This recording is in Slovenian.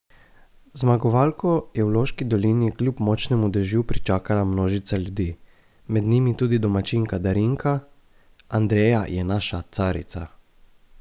Zmagovalko je v Loški dolini kljub močnemu dežju pričakala množica ljudi, med njimi tudi domačinka Darinka: "Andreja je naša carica.